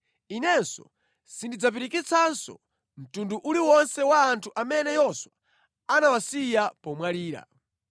Inenso sindidzapirikitsanso mtundu uli wonse wa anthu amene Yoswa anawasiya pomwalira.